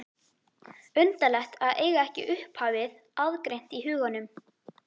Undarlegt að eiga ekki upphafið aðgreint í huganum.